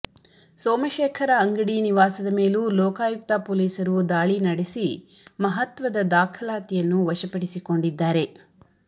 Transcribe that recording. ಸೋಮಶೇಖರ ಅಂಗಡಿ ನಿವಾಸದ ಮೇಲೂ ಲೋಕಾಯುಕ್ತ ಪೊಲೀಸರು ದಾಳಿನಡೆಸಿ ಮಹತ್ವದ ದಾಖಲಾತಿಯನ್ನು ವಶಪಡಿಸಿಕೊಂಡಿದ್ದಾರೆ